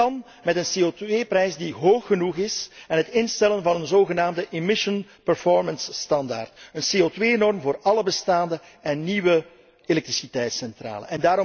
Dat kan met een CO2 prijs die hoog genoeg is en met het instellen van een zogenaamde emission performance' standaard, een CO2 norm voor alle bestaande en nieuwe elektriciteitscentrales.